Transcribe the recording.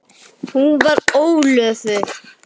Hún var ólofuð.